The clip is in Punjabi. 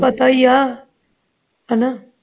ਪਤਾ ਹੀ ਆ ਹਣਾ